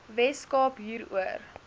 wes kaap hieroor